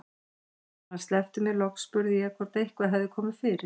Þegar hann sleppti mér loks spurði ég hvort eitthvað hefði komið fyrir.